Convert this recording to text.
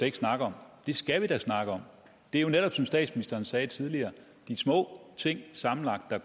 ikke snakke om det skal vi da snakke om det er jo netop som statsministeren sagde tidligere de små ting sammenlagt der